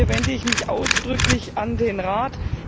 Hier wende ich mich ausdrücklich an den Rat.